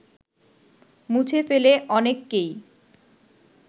মুছে ফেলে অনেককেই